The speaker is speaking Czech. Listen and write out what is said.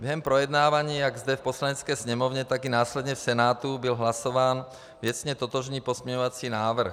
Během projednávání jak zde v Poslanecké sněmovně, tak i následně v Senátu byl hlasován věcně totožný pozměňovací návrh.